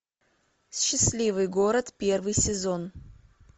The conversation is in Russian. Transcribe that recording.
счастливый город первый сезон